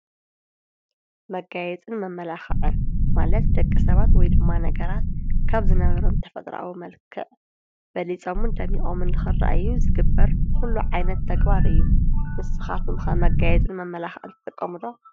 መጋየፅን መመላኽዕን ማለት ደቂ ሰባት ወይ ድማ ነገራት ካብ ዝነበሮም ተፈጥራኣዊ መልከዕ በሊፆምን ደሚቖምን ልኽረአዩ ዝግበር ዂሉ ዓይነት ተግባር እዩ፡፡ ንስኻትኩም ከ መጋየፅን መመላኽዐን ዝጥቐሙ ዶ?